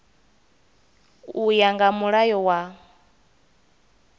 u ya nga mulayo wa